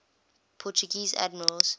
portuguese admirals